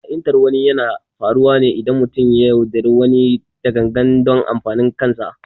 Ha’intar wani yana faruwa ne idan mutum ya yaudari wani da gangan don amfanin kansa